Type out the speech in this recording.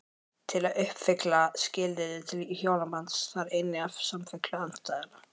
Til að uppfylla skilyrði til hjónabands þarf einnig samfellu andstæðnanna.